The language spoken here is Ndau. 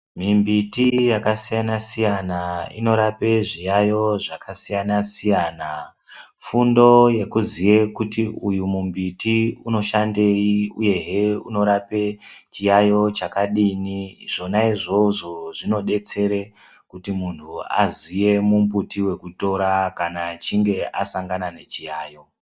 Mimbiti yakasiyana siyana inorape zviyaiyo zvakasiyana siyana. Fundo yekuziya kuti uyu mumbuti uyu unoshandei uyehe unorape chiyaiyo chakadini. Zvona izvozvo zvinodetsera kuti munhu aziye mumbuti wekutora kana achinge asangana nechiyaiyo.